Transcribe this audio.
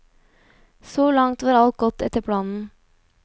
Så langt var alt gått etter planen.